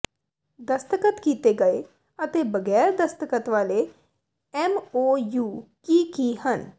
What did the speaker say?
ਦਸਤਖਤ ਕੀਤੇ ਗਏ ਅਤੇ ਬਗੈਰ ਦਸਤਖਤ ਵਾਲੇ ਐਮਓਯੂ ਕੀ ਕੀ ਹਨ